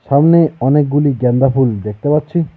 সামনে অনেকগুলি গেন্দা ফুল দেখতে পাচ্ছি।